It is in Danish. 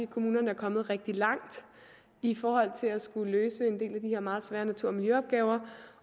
kommunerne er kommet rigtig langt i forhold til at skulle løse en del af de her meget svære natur og miljøopgaver